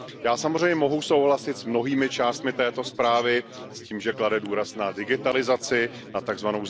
Já samozřejmě mohu souhlasit s mnohými částmi této zprávy, s tím, že klade důraz na digitalizaci, na tzv.